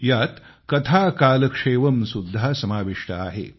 यात कथाकालक्षेवम सुद्धा समाविष्ट आहे